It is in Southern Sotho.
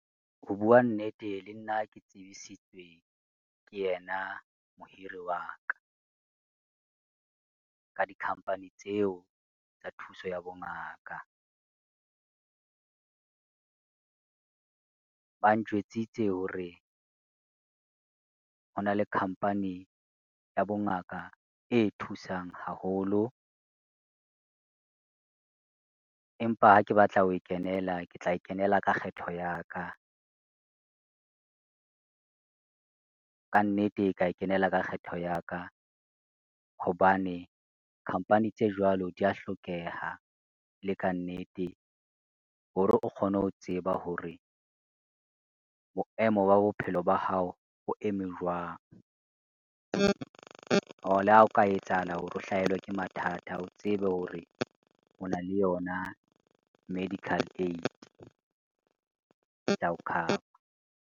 Ho bua nnete le nna ke tsebisitswe ke yena mohiri wa ka, ka di-company tseo tsa thuso ya bongaka. Ba ntjwetsitse hore hona le company ya bongaka e thusang haholo, empa ha ke batla ho kenela, ke tla e kenela ka kgetho ya ka. Ka nnete ka e kenela ka kgetho ya ka, hobane company tse jwalo di ya hlokeha le ka nnete hore o kgone ho tseba hore boemo ba bophelo ba hao bo eme jwang? Hore le ha o ka etsahala hore o hlahelwa ke mathata, o tsebe hore o na le yona medical aid yao cover.